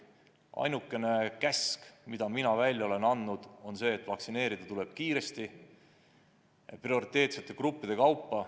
Ainukene käsk, mille mina välja olen andnud, on see, et vaktsineerida tuleb kiiresti prioriteetsete gruppide kaupa.